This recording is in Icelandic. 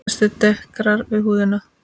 Þessi dekrar við húðina.